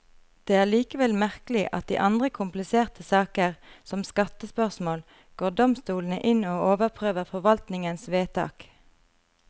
Det er likevel merkelig at i andre kompliserte saker, som skattespørsmål, går domstolene inn og overprøver forvaltningens vedtak.